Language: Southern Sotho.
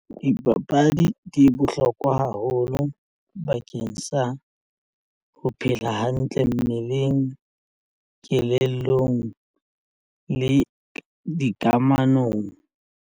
Dipapadi di bohlokwa haholo bakeng sa ho phela hantle mmeleng kelellong le dikamanong.